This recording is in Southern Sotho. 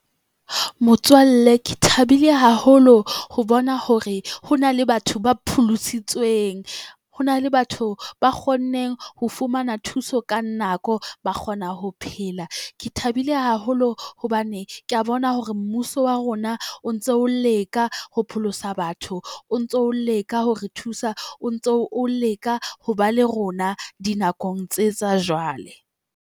Motswalle ke thabile haholo ho bona hore ho na le batho ba pholositsweng. Ho na le batho ba kgonneng ho fumana thuso ka nako ba kgona ho phela. Ke thabile haholo hobane kea bona hore mmuso wa rona o ntso o leka ho pholosa batho, o ntso leka hore thusa, o ntso o leka ho ba le rona dinakong tse tsa jwale.